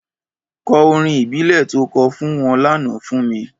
Kò órín ìbílè tó kò fún wòn lànã fún mi